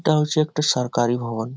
এটা হচ্ছে একটি সরকারি ভবন।